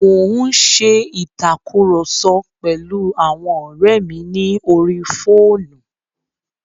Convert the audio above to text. Mo n ṣe ìtàkurọ̀sọ pẹ̀lu àwọn ọ́rẹ́ mi ní orí fóònù.